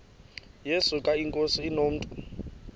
yesuka inkosi inomntu